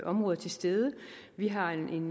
områder til stede vi har en